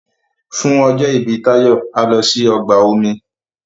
fún ọjọ ibi Tayo a lò sí ọgbà omi